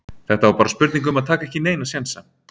Þetta var bara spurning um að taka ekki neina sénsa.